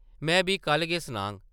में बी कल्ल गै सनाङ ।